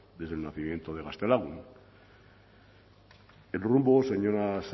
desde el nacimiento de gaztelagun el rumbo señora saez